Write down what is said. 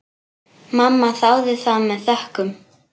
Mamma þáði það með þökkum.